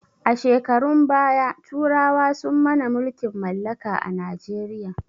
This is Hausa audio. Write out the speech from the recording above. A shekarun baya turawa sun mana mulkin mallaka a najeriya